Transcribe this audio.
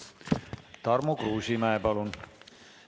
Tarmo Kruusimäe, palun!